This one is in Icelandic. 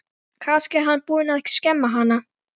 Kannski er hann búinn að skemma hana.